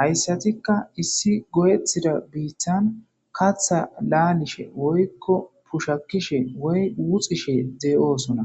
Haysatika issi goyetida bittani kaatha laagishe woykon bushakishe woy wuxishe de'osona.